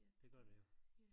Det gør det jo